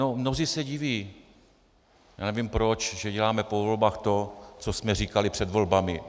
No, mnozí se diví, já nevím proč, že děláme po volbách to, co jsme říkali před volbami.